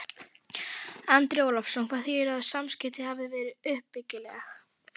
Andri Ólafsson: Hvað þýðir að samskiptin hafi verið uppbyggileg?